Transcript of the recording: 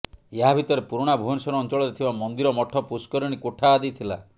ଏହା ଭିତରେ ପୁରୁଣା ଭୁବନେଶ୍ବର ଅଞ୍ଚଳରେ ଥିବା ମନ୍ଦିର ମଠ ପୁଷ୍କରିଣୀ କୋଠା ଆଦି ଥିଲା